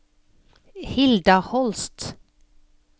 Hilda Holst